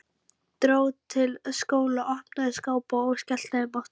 Dró til stóla, opnaði skápa og skellti þeim aftur.